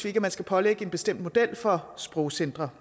ikke man skal pålægge en bestemt model for sprogcentre